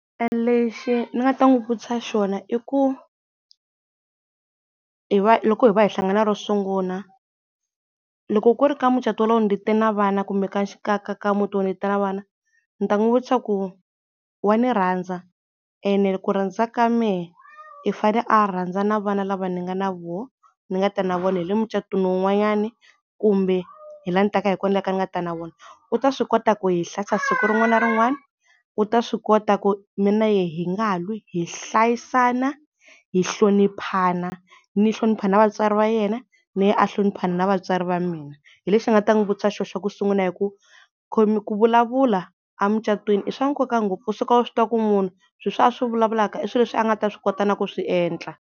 Lexi ni nga ta n'wi vutisa xona i ku hi va loko hi va hi hlangana ro sungula loko ku ri ku ka mucatu wolowo ni te na vana kumbe ka ka muti walowo ni te na vana ni ta n'wi vutisa ku wa ni rhandza ene ku rhnadza ka mehe i fane a rhandza na vana lava ni nga na voho ni nga ta na vona hi le mucatwini un'wanyana kumbe hi la ni taka hi kona ni nga ta na vona. U ta swi kota ku hi hlayisa siku rin'wana na rin'wana, u ta swi kota ku mina na yehe hi nga lwi hi hlayisana, hi hloniphana, ni hlonipha na vatswari va yena na yena a hlonipha na vatswari va mina. Hi lexi ni nga ta n'wi vutisa xo xa ku sungula hi ku ku vulavula a mucatwini i swa nkoka ngopfu u suka u swi tiva ku munhu swilo leswi a swi vulavulaka i swilo leswi a nga ta swi kota na ku swi endla.